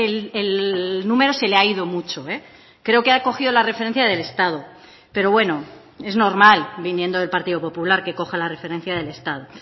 el número se le ha ido mucho creo que ha cogido la referencia del estado pero bueno es normal viniendo del partido popular que coja la referencia del estado